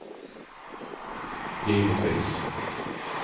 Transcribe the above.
givetvis